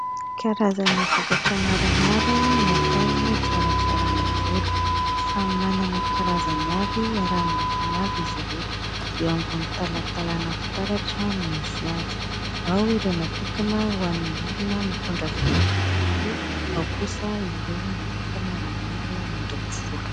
Karazana vokatra maromaro natao hikarakaràna volo. Samy manana ny karazany avy ary amin'ny lokony avy izy ireto. Eo ambony talantalana fitaratra no misy azy. Ao ireo natokana ho an'ny olona mitondra volo olioly, ao kosa ireo natokana ho an'ny olona mandoko volo.